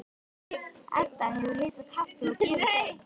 Edda hefur hitað kaffi og gefið þeim.